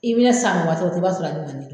I bɛ san i b'a sɔrɔ